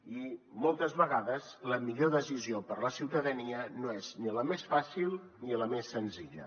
i moltes vegades la millor decisió per la ciutadania no és ni la més fàcil ni la més senzilla